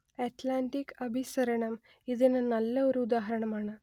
Atlantic അഭിസരണം ഇതിന് നല്ല ഒരു ഉദാഹരണമാണ്